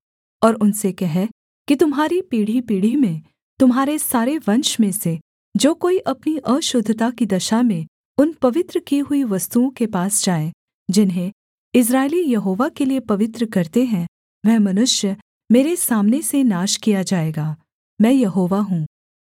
और उनसे कह कि तुम्हारी पीढ़ीपीढ़ी में तुम्हारे सारे वंश में से जो कोई अपनी अशुद्धता की दशा में उन पवित्र की हुई वस्तुओं के पास जाए जिन्हें इस्राएली यहोवा के लिये पवित्र करते हैं वह मनुष्य मेरे सामने से नाश किया जाएगा मैं यहोवा हूँ